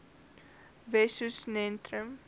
wessosentrum